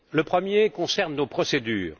Le premier concerne nos procédures.